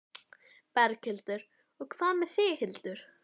Berghildur: Og hvað með þig, Hildur?